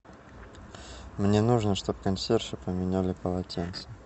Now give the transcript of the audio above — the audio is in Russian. мне нужно что бы консьержи поменяли полотенце